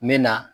N bɛ na